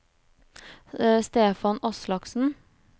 Stefan Aslaksen